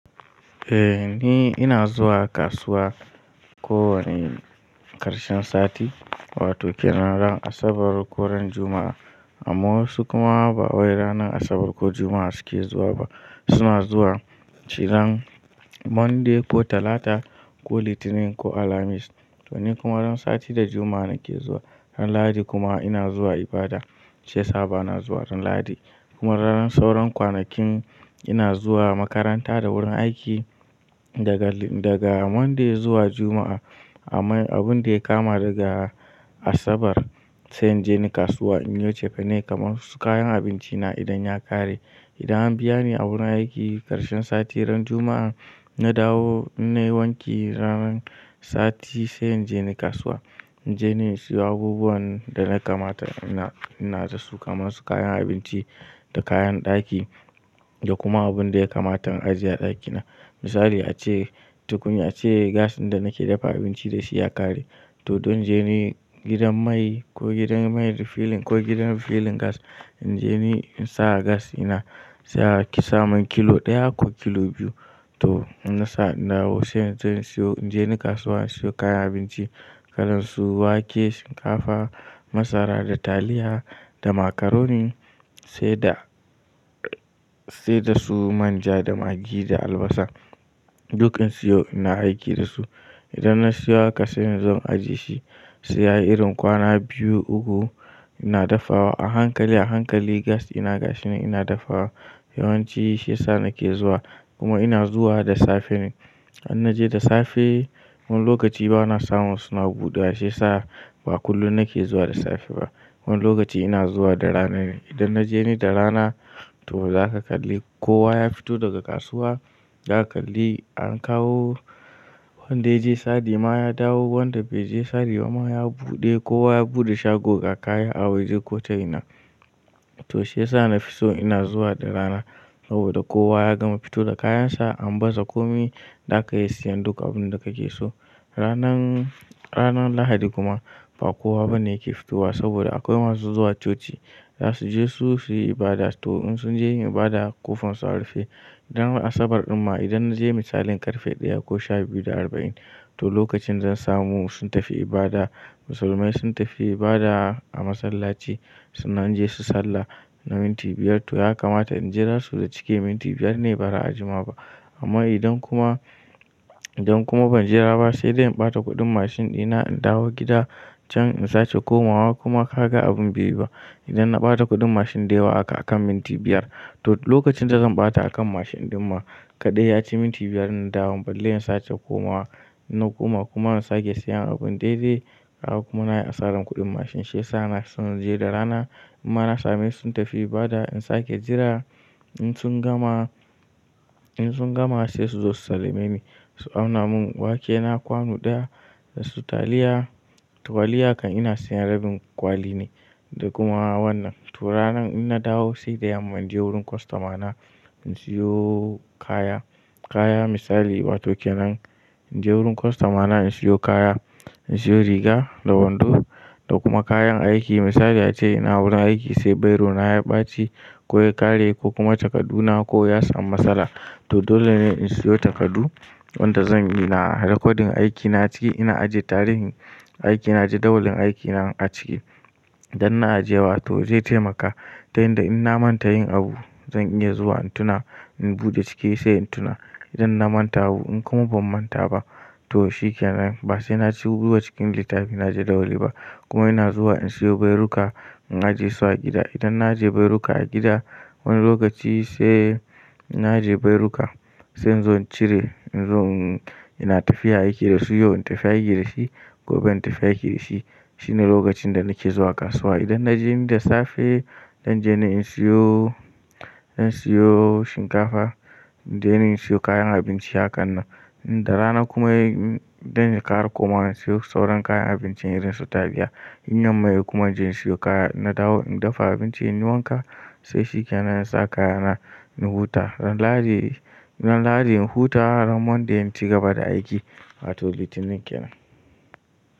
Eh nide ina zuwa kasuwa ko wane ƙarshen sati wato kenan ran Asabar ko ran Juma'a amma wasu kuma ba wai ranar Asabar ko Juma'a suke zuwa ba suna zuwa ciran Monday ko Talata ko Litinin ko Alhamis to ni kuma ran sati da Juma'a nake zuwa ran Lahadi kuma ina zuwa ibada shi sa ba na zuwa ran Lahadi kuma ran sauron kwanakin ina zuwa makaranta da wurin aiki daga daga Monday zuwa Juma'a ama abun da ya kama daga Asabar sai in je ni kasuwa in yo cefane kamar wasu kayan abinci na idan ya ƙare idan an biya ni a wurin aiki ƙarshen sati ran Juma'an na dawo in nai wanki ran sati sai in je ni kasuwa in je ni in siyo abubuwan da na kamata ina ina da su kamar su kayan abinci da kayan ɗaki da kuma abun da ya kamatan ajiye a ɗakina misali ace tukunya ace gas ɗin da nake dafa abinci da shi ya ƙare to don je ni gidan mai ko gidan mai refilling ko gidan refilling gas in je ni in sa gas ina sa ki samun kilo ɗaya ko kilo biyu to in nasa na dawo sai zan siyo in je ni kasuwa in siyo kayan abinci kalansu wake, shinkafa, masara da taliya da macaroni sai da sai da su manja da maggi da albasa duk in siyo ina aiki da su idan na siyo haka sai zan ajiye shi sai ya yi irin kwana biyu uku ina dafawa a hankali a hankali gas ina gashinan ina dafawa yawanci shiya sa nake zuwa kuma ina zuwa da safe ne in naje da safe wani lokaci ba na samu suna buɗewa shiya sa ba kullum nake zuwa da safe ba wani lokaci ina zuwa da rana ne idan naje ni da rana to zaka kalli kowa ya fito daga kasuwa zaka kalli an kawo wanda ya je sari ma ya dawo wanda bai je sari ba ma ya buɗe kowa ya buɗe shago ga kaya a waje ko ta ina to shiya sa na fiso ina zuwa da rana saboda kowa ya gama fito da kayan sa an baza komi zaka iya siyan duk abun da kake so ranan ranar Lahadi kuma ba kowa bane yake fitowa saboda akwai masu zuwa coci za su je su su yi ibada to in sun je yin ibada ƙofan su a rufe dan Asabar ɗin ma idan na je misalin ƙarfe ɗaya ko shabiyu da arba'in to lokacin zan samu sun tafi ibada musulmai sun tafi ibada a masallaci sunan je su sallah na minti biyar to ya kamata in jira su da cike minti biyar ne ba ra a jima ba amma idan kuma idan kuma ban jira ba sai dai in ɓata kuɗin mashin dina in dawo gida can in sace komawa kuma ka ga abin bai yi ba idan na ɓata kuɗin mashin da yawa haka akan minti biyar to lokacin da zan ɓata akan mashin ɗin ma kaɗai ya ci minti biyar in dawo balle in sake komawa in na koma kuma in sake siyan abun daidai haka kuma na yi asaran kuɗin mashin shiya sa ina so in je da rana imma na same sun tafi ibada in sake jira in sun gama in sun gama sai su zo su salame ni su auna mun wake na kwanu ɗaya da su taliya tuwaliya kan ina siyan rabin kwali ne da kuma wannan to ranan in na dawo sai da yamma in je wurin kostom na in siyo kaya kaya misali wato kenan in je wurin kostoma na in siyo kaya in siyo riga da wando da kuma kayan aiki misali ace ina wurin aiki sai bairo na ya ɓaci ko ya ƙare ko kuma takadu na ko ya samu matsala to dole ne in siyo takadu wanda zan ina rekodin aikina ciki ina ajiye tarihin aikina jadawalin aikina a ciki idan na ajiye wa to zai taimaka ta yanda in na manta yin abu zan iya zuwa in tuna in buɗe cike sai in tuna idan na manta abu in kuma ban manta ba to shi kenan ba sai na ci ruwa cikin littafi na jadawali ba kuma ina zuwa in siyo bairu ka in ajiye su a gida idan na ajiye bairo ka a gida wani lokaci sai inna ajiye bairu ka sai inzo in cire in zo in ina tafiya aiki da shi yau in tafiya aiki da shi gobe in tafiya aiki da shi shine lokacin da nake zuwa kasuwa idan na je ni da safe dan je ni in siyo in siyo shinkafa don in siyo kayan abinci hakan nan in da rana kuma yayi don yi ƙara komawa in siyo sauran kayan abincin irin su taliya in yamma yay kuma in je in siyo kaya in na dawo in dafa abinci in yi wanka to shi kenan in sa kaya na in huta ran Lahadi ran Lahadi in huta ran Monday in ci gaba da aiki wato Litinin kenan.